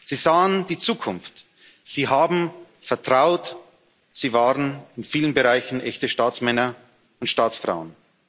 Sie sahen die Zukunft, sie haben vertraut, sie waren in vielen Bereichen echte Staatsmänner und Staatsfrauen.